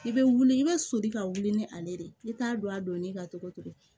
I bɛ wuli i bɛ soli ka wuli ni ale de ye i t'a dɔn a donni ka togo togo